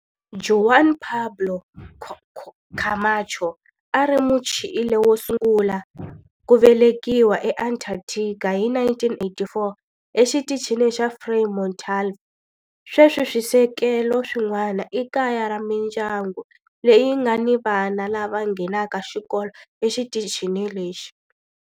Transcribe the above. Juan Pablo Camacho a a ri Muchile wo sungula ku velekiwa eAntarctica hi 1984 eXitichini xa Frei Montalva. Sweswi swisekelo swin'wana i kaya ra mindyangu leyi nga ni vana lava nghenaka xikolo exitichini lexi.